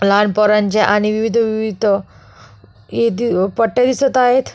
लहान पोरांचे आणि विविध विविध अ पट्ट्या दिसत आहेत.